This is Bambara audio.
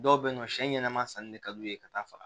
Dɔw be yen nɔ siɲɛ ɲɛnɛma sanni de ka d'u ye ka taa faga